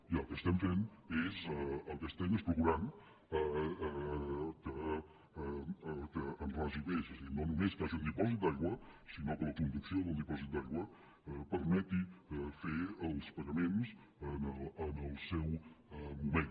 i el que estem fent és procurant que en ragi més és a dir no només que hi hagi un dipòsit d’aigua sinó que la conducció del dipòsit d’aigua permeti fer els pagaments en el seu moment